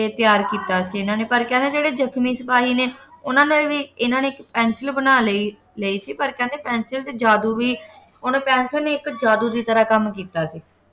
ਤਿਆਰ ਕੀਤਾ ਸੀ ਇਨ੍ਹਾਂ ਨੇ ਪਰ ਕਹਿੰਦੇ ਜਿਹੜੇ ਜਖਮੀ ਸਿਪਾਹੀ ਨੇ ਉਨ੍ਹਾਂ ਨੇ ਵੀ ਇਨ੍ਹਾਂ ਨੇ ਪੈਨਸਿਲ ਬਣਾ ਲਈ ਲਈ ਸੀ ਪਰ ਕਹਿੰਦੇ ਪੈਨਸਿਲ ਚ ਜਾਦੂ ਵੀ ਉਹਨੇ ਪੈਨਸਿਲ ਨੇ ਇੱਕ ਜਾਦੂ ਦੀ ਤਰ੍ਹਾਂ ਕੰਮ ਕੀਤਾ ਸੀ